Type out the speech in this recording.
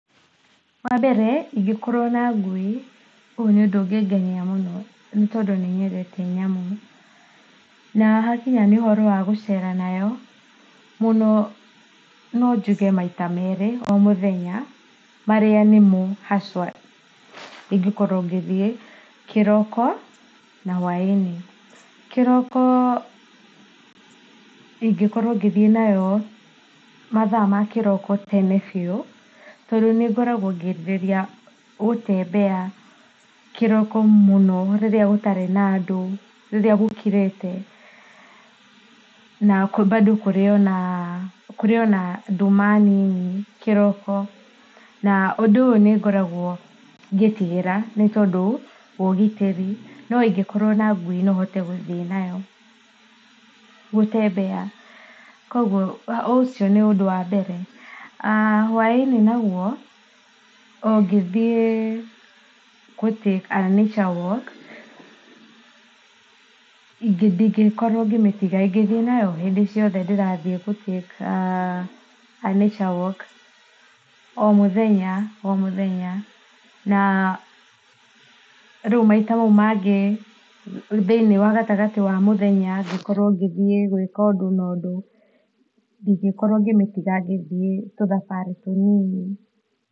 Wa mbere ingĩkorwo na ngui, ũyũ nĩ ũndũ ũngĩngenia mũno. Nĩ tondũ nĩnyendete nyamũ. Na hakinya nĩ ũhoro wa gũceera nayo, mũno no njuge maita meerĩ o mũthenya. Marĩa nĩmo haswa ingĩkorwo ngĩthiĩ; kĩroko na hwaĩ-inĩ. Kĩroko ingĩkorwo ngĩthiĩ nayo mathaa ma kĩroko tene biũ. Tondũ nĩngoragwo ngĩrirĩria gũtembea kĩroko mũno rĩrĩa gũtarĩ na andũ. Rĩrĩa gũkirĩte, na kuo bado kũrĩ ona kũrĩ ona nduma nini kĩroko. Na ũndũ ũyũ nĩ ngoragwo ngĩtigĩra nĩ tondũ wa ũgitĩri, no ingĩkorwo na ngui no hote guthiĩ nayo gutembea. Koguo ũcio nĩ ũndũ wa mbere. Hwaĩ-inĩ naguo, o ngĩthiĩ gũ take a nature walk ndingĩkorwo ngĩmĩtiga, ingĩkorwo ngĩthiĩ nayo hĩndĩ ciothe ndĩrathiĩ gũ take a nature walk. O mũthenya o mũthenya, na rĩu maita mau mangĩ thĩinĩ wa gatagatĩ wa mũthenya ngĩkorwo ngĩthiĩ gwĩka ũndũ na ũndũ, ndingĩkorwo ngĩmĩtiga ngĩthiĩ tuthabarĩ tũ nini.